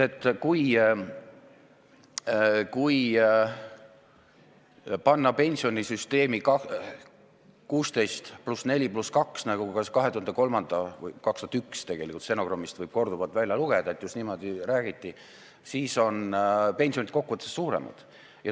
Igal juhul, kui panna pensionisüsteemi 16% + 4% + 2%, nagu 2001. aasta stenogrammidest võib korduvalt välja lugeda, siis on pensionid kokkuvõttes suuremad.